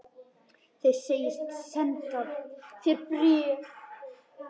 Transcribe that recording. Þeir segjast senda þér bréfin.